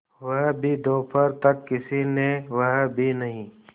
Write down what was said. वह भी दोपहर तक किसी ने वह भी नहीं